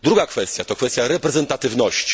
Druga kwestia to kwestia reprezentatywności.